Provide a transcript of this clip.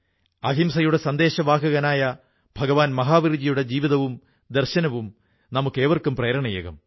അഹിംസയുടെ സന്ദേശവാഹകരനായ ഭഗവാൻ മഹാവീർജിയുടെ ജീവിതവും ദർശനവും നമുക്കേവർക്കും പ്രേരണയേകും